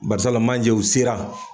Barisawula manje u sera.